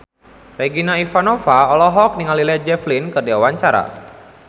Regina Ivanova olohok ningali Led Zeppelin keur diwawancara